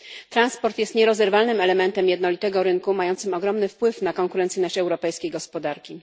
Transport jest nierozerwalnym elementem jednolitego rynku mającym ogromny wpływ na konkurencyjność europejskiej gospodarki.